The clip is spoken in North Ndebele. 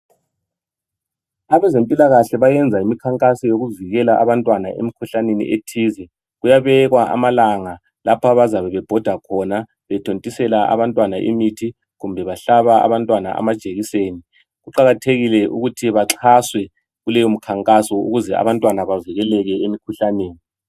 Abezempilakahle bayenza imikhankaso yokuvikela abantwana emikhuhlaneni ethize. Kuyabekwa amalanga lapho abazabe bebhoda khona bethontisela abantwana imithi kumbe kumbe bahlaba abantwana amajekiseni, kuqakathekile ukuthi baxhaswe kuleyo mikhankaso ukuze abantwana bavikeleke emikhuhlaneni